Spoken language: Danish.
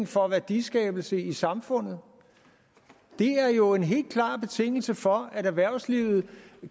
for værdiskabelse i samfundet det er jo en helt klar betingelse for at erhvervslivet